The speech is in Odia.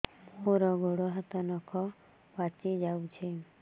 ମୋର ଗୋଡ଼ ହାତ ନଖ ପାଚି ଯାଉଛି